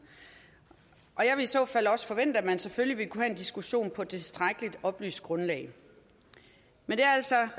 jeg vil i så fald også forvente at man selvfølgelig ville kunne have en diskussion på et tilstrækkelig oplyst grundlag men det er altså